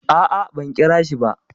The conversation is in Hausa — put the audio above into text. A'a, ban kirashi ba.